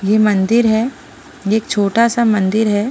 ये मंदिर है ये एक छोटा सा मंदिर है।